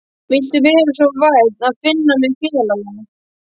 Viltu vera svo vænn að finna mig félagi?